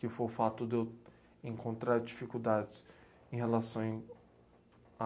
Que foi o fato de eu encontrar dificuldades em relação a en, a